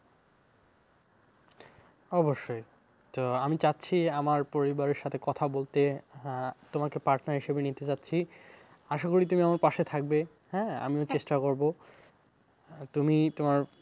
অবশ্যই তো আমি চাচ্ছি আমার পরিবারের সাথে কথা বলতে আহ তোমাকে partner হিসাবে নিতে চাচ্ছি আশাকরি তুমি আমার পাশে থাকবে। হ্যাঁ আমিও চেষ্টা করবো, তুমি তোমার